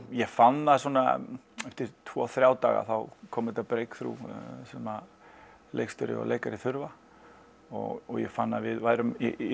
ég fann það svona eftir tvo þrjá daga þá kom þetta brekthrough sem leikstjóri og leikari þurfa og ég fann að við værum í